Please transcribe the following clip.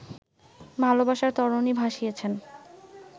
ভালোবাসার তরণি ভাসিয়েছেন